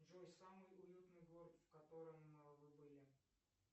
джой самый уютный город в котором вы были